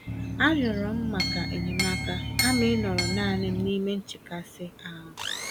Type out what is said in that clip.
A rịọrọ m maka enyemaka kama ịnọrọ nanịm nime nchekasị-ahụ